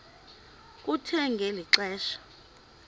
kuthe ngeli xesha